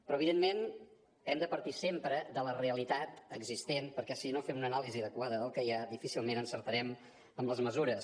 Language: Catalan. però evidentment hem de partir sempre de la realitat existent perquè si no fem una anàlisi adequada del que hi ha difícilment encertarem amb les mesures